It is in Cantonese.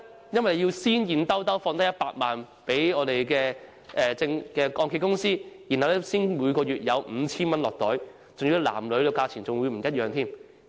因為要先投入100萬元現金給按揭公司，才可以每月領取 5,000 元，而且男和女所得金額也不相同。